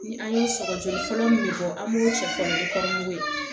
Ni an ye sɔgɔsɔgɔ fɔlɔ minnu bɔ an b'o sɔgɔ ni kɔɔri ye